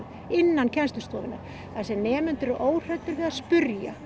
innan kennslustofunnar þar sem nemendur eru óhræddir við að spyrja